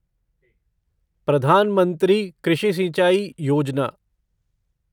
प्रधान मंत्री कृषि सिंचाई योजना